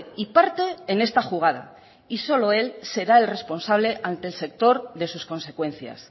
y parte en esta jugada y solo él será el responsable ante el sector de sus consecuencias